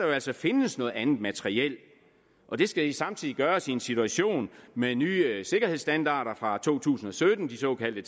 jo altså findes noget andet materiel og det skal samtidig gøres i en situation med nye sikkerhedsstandarder fra to tusind og sytten de såkaldte